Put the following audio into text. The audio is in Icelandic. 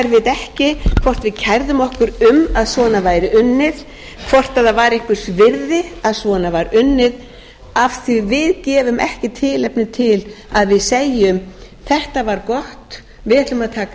ekki hvort við kærðum okkur um að svona væri unnið hvort það var einhvers virði að svona var unnið af því að við gefum ekki tilefni til að við segjum þetta var gott við ætlum að taka mið af